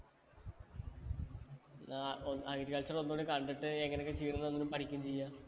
ആ ഒ agriculture ഒന്നൂടി കണ്ടിട്ട് എങ്ങനെയൊക്കെയാ ചെയ്യുന്നേ എന്ന് പഠിക്കും ചെയ്യാം